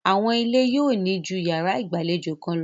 Àwọn ilé yóò ní ju yàrá ìgbàlejò kan lọ.